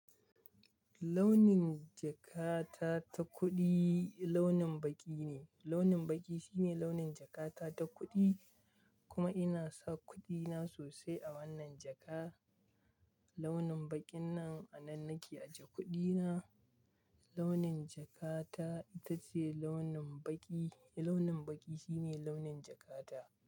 Launin jakata ta kuɗi launin baƙi ne. Launin baƙi shine launin jakata ta kuɗi kuma ina sa kuɗina sosai a wannan jaka. Launin baƙin nan a nan nake aje kuɗina. Launin jakata ita ce launin baƙi. Launin baƙi shine launin jakata.